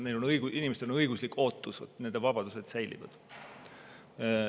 Inimestel on õiguslik ootus, et nende vabadused säilivad.